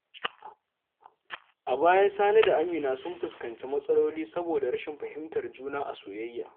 A baya, Sani da Amina sun fuskanci matsaloli saboda rashin fahimtar juna a soyayya.